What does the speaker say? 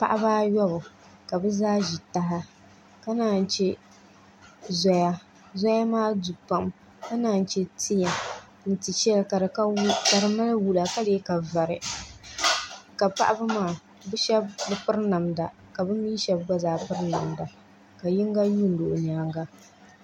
Paɣaba ayobu ka bi zaa ʒi taha ka naan chɛ zoya zoya maa du pam ka naan chɛ tia ni tia shɛli ka di mali wula ka lee ka vari ka paɣaba maa bi shab bi piri namda ka bi mii shab gba zaa piri namda ka yinga yuundi o nyaanga